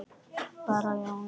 Bara að Jónsi væri heima.